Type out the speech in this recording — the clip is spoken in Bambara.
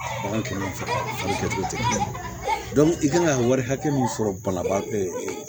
Bagan kɛmɛ fila kɛ cogo tɛ kelen ye i kan ka wari hakɛ min sɔrɔ banabaa